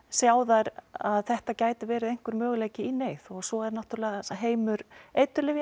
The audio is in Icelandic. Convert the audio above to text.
sjá þær að þetta getur verið möguleiki í neyð og svo er það náttúrulega heimur